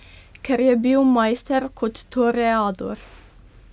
Ker je bil majster kot toreador.